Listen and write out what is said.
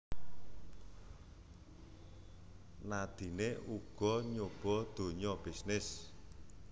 Nadine uga nyoba dunya bisnis